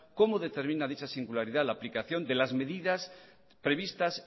cómo determina dicha singularidad la aplicación de las medidas previstas